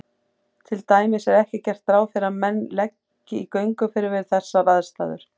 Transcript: Til dæmis er ekki gert ráð fyrir að menn leggi í gönguferðir við þessar aðstæður.